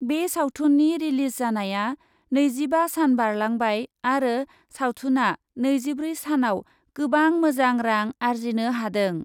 बे सावथुननि रिलिज जानाया नैजिबा सान बारलांबाय आरो सावथुनआ नैजिब्रै सानआव गोबां मोजां रां आरजिनो हादों ।